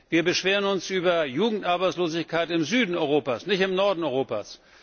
Wir beschweren uns über Jugendarbeitslosigkeit im Süden Europas, nicht im Norden Europas.